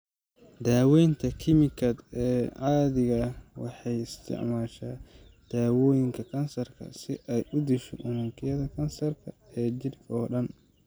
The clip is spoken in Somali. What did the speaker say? Dawaynta kiimikaad ee caadiga ah waxay isticmaashaa daawooyinka kansarka si ay u disho unugyada kansarka ee jidhka oo dhan.